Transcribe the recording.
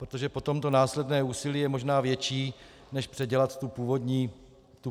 Protože potom to následné úsilí je možná větší než předělat tu původní podobu.